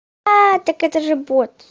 так это же бот